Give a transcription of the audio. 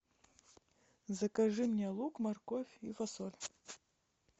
закажи мне лук морковь и фасоль